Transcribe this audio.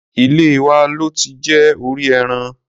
Ilé wa lo ti jẹ orí ẹran.